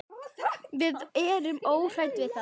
Við erum óhrædd við það.